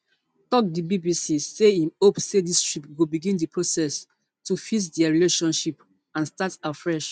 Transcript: tok di bbc say im hope say dis trip go begin di process to fix dia relationship and start afresh